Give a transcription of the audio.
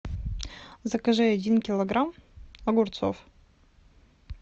закажи один килограмм огурцов